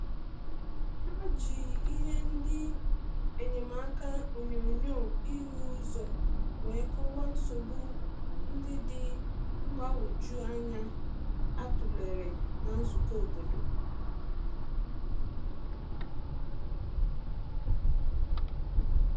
Ha ji ihe ndi enyemaka onyonyo ihu uzo wee kọwaa nsogbu nde dị mgbanwoju anya a tụlere na nzukọ obodo.